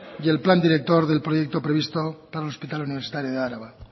y el plan director del proyecto provisto para el hospital universitario de álava